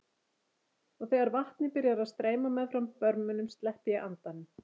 Og þegar vatnið byrjar að streyma meðfram börmunum sleppi ég andanum.